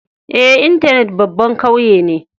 Eh, intenet babban kauye ne.